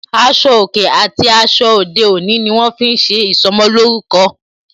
Aṣọ òkè àti aṣọ ayé òde òní ni wọn fi ń ṣe ìsọmolórúkọ